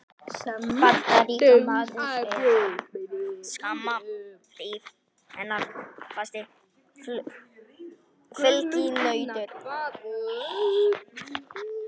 Bandaríkjamaður er skamma hríð hennar fasti fylginautur.